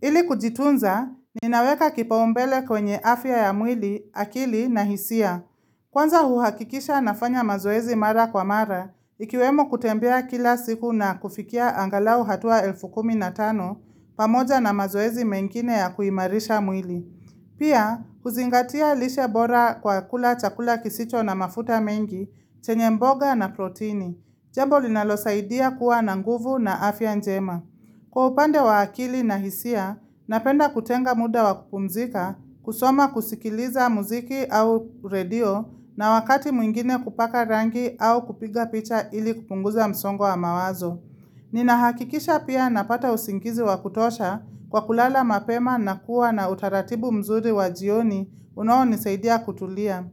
Ili kujitunza, ninaweka kipaumbele kwenye afya ya mwili, akili na hisia. Kwanza uhakikisha nafanya mazoezi mara kwa mara, ikiwemo kutembea kila siku na kufikia angalau hatua elfu kumi na tano, pamoja na mazoezi mengine ya kuimarisha mwili. Pia, kuzingatia lishe bora kwa kula chakula kisicho na mafuta mengi, chenye mboga na protini. Jambo linalo saidia kuwa na nguvu na afya njema. Kwa upande wa akili na hisia, napenda kutenga muda wakupumzika, kusoma kusikiliza muziki au radio na wakati mwingine kupaka rangi au kupiga picha ili kupunguza msongo wa mawazo. Ninahakikisha pia napata usingizi wakutosha kwa kulala mapema na kuwa na utaratibu mzuri wajioni unao nisaidia kutulia.